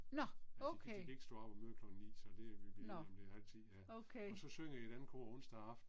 Nå, okay. Nå. Okay